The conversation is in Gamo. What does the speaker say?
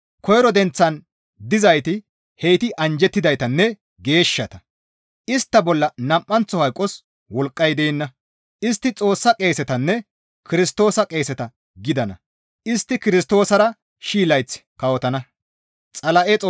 Koyro denththan dizayti heyti anjjettidaytanne geeshshata. Istta bolla nam7anththo hayqos wolqqay deenna; istti Xoossa qeesetanne Kirstoosa qeeseta gidana; istti Kirstoosara shii layth kawotana.